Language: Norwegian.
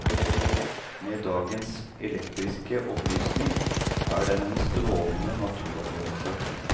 Med dagens elektriske opplysning er den en strålende naturopplevelse.